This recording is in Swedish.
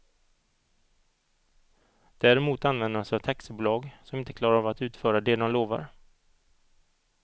Däremot använder de sig av taxibolag som inte klarar av att utföra det de lovar.